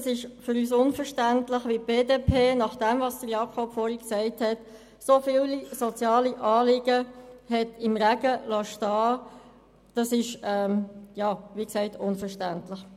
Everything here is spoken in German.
Es ist für uns unverständlich, wie die BDP, nach dem, was Sie, Jakob Etter, vorhin gesagt haben, so viele soziale Anliegen im Regen stehen lassen kann.